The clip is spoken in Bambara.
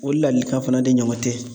O lalikan fana de ɲɔgɔn tɛ.